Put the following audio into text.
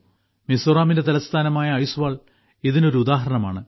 മിസോറാമിന്റെ തലസ്ഥാനമായ ഐസ്വാൾ ഇതിന് ഒരു ഉദാഹരണമാണ്